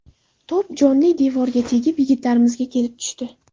To‘p jonli devorga tegib yigitlarimizga kelib tushdi.